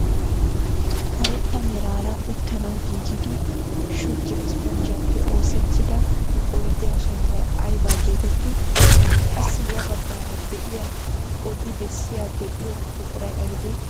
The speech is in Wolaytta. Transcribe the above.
Karetta meraara uttanawu giigidi shuggiyaa isponjjiyaappe oosettida oydiyaa sunttay aybaa getettii? qassi ya baggaara de'iyaa odi bessiyaa be'iyoo buquray aybee?